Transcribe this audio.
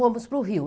Fomos para o rio.